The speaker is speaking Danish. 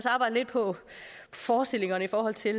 arbejde lidt på forestillingerne i forhold til